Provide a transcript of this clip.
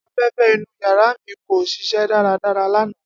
Afẹfẹ inu yara mi ko ṣiṣẹ daradara lana.